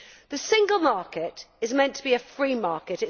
it. The single market is meant to be a free market.